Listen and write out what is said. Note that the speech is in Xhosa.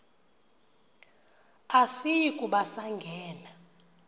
asiyi kuba sangena